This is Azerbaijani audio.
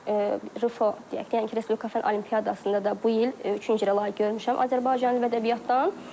Refo deyək ki, yəni ki, Respublika fənn olimpiadasında da bu il üçüncü yerə layiq görmüşəm Azərbaycan dil və ədəbiyyatdan.